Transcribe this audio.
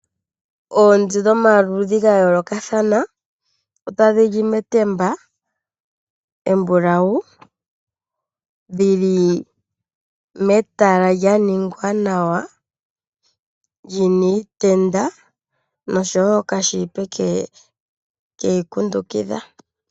Oonzi dhomaludhi gayoolokathana , otadhi li metemba embulawu dhili metala lya ningwa nawa , lyina iitenda nokashipeke keli kundukidha.